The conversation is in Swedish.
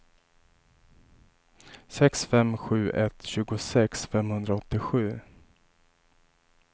sex fem sju ett tjugosex femhundraåttiosju